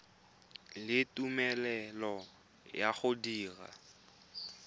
le tumelelo ya go dira